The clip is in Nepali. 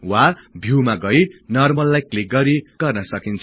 वा भिउमा गई नर्मललाई क्लिक गरि गर्न सकिन्छ